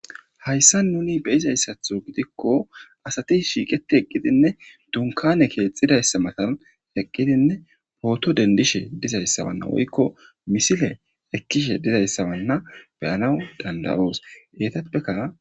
Haysan nuuni be'izasato gidiko asati shiiqeti eqidine dunkane keexidaysa matan eqidine pooto dendishe dizaysa woyko misile ekishe dizaysa be'anawu danda'os.